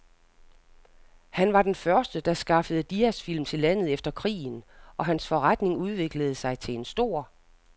Han var den første, der skaffede diasfilm til landet efter krigen, og hans forretning udviklede sig til en stor